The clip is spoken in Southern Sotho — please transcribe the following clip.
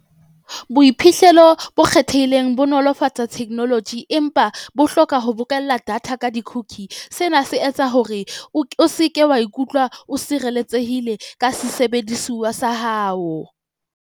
Boiphihlelo bo kgethehileng bo nolofatsa technology, empa bo hloka ho bokella data ka di-cookie. Sena se etsa hore o o se ke wa ikutlwa o sireletsehile ka sesebedisuwa sa hao.